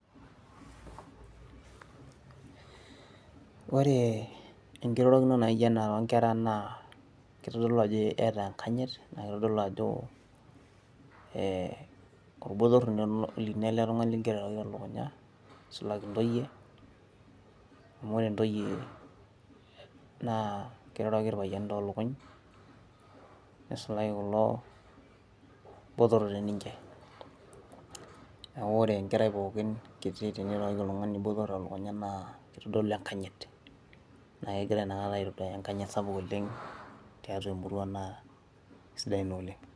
ore enkirorokino naijo ena toonkera naa kitodolu ajoo eyata enkanyit, naa kitodolu ajo olbotor lino el tungani ligira airoroki te lukunya. nisulaki ntoye amu ore ntoyie naa kiroroki irpayiani too lukuny nisulaki kulo botorok te ninche. neeku ore enkeraii pookin teneiroroki, oltungani botor telukunya naa kitodolu enkayit. naa ore inakata kegira aitodolu enkayit tiatua emurua naa kisidai ina oleng.